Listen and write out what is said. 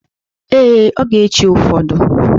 Ee, ọ ga-echi ụfọdụ.